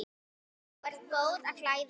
Sú er bót á klæði.